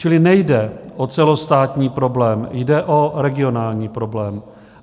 Čili nejde o celostátní problém, jde o regionální problém.